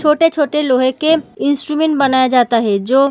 छोटे-छोटे लोहे के इंस्ट्रूमेंट बनाया जाता है जो --